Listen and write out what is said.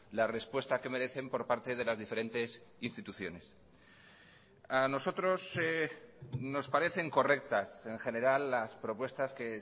la respuesta que merecen por parte de las diferentes instituciones a nosotros nos parecen correctas en general las propuestas que